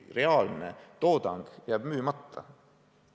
Reaalne toodang jääb müümata.